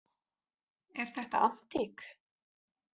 Er þetta antík?